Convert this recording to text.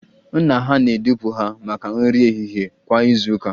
Nna ha na-edupụ ha maka nri ehihie kwa izu ụka